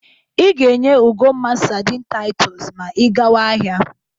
Ị ga-enye Ugomma sadịn Taịtọs ma ị gawa ahịa.